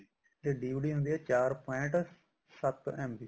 ਤੇ DVD ਹੁੰਦੀ ਆ ਚਾਰ point ਸੱਤ MB